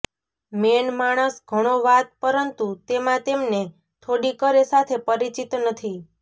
main માણસ ઘણો વાત પરંતુ તેમાં તેમને થોડી કરે સાથે પરિચિત નથી